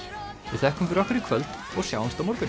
við þökkum fyrir okkur í kvöld og sjáumst á morgun